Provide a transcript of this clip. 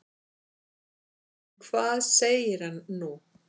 En hvað segir hann nú?